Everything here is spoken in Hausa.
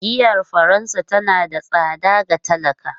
Giyar Faransa tana da tsada ga talakawa.